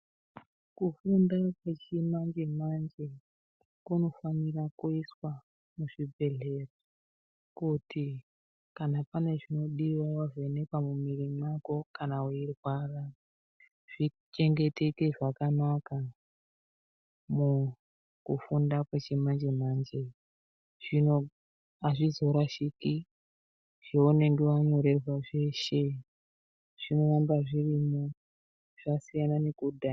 Kufunda kwechimanje manje kunofanira kuiswa muzvibhedhlera kuti kana pane chinodiwa wavhenekwa mumwiro mako kana weirwara zvichengeteke zvakanaka mukufunda kwechimanje manje zvino azvizorashiki zvaunenge wanyorerwa zveshe zvinoramba zvirimwo zvasiyana nekudhaya.